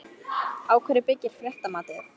Á hverju byggir fréttamatið?